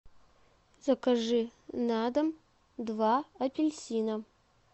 закажи на дом два апельсина